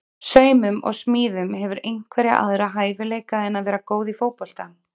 Saumum og smíðum Hefurðu einhverja aðra hæfileika en að vera góð í fótbolta?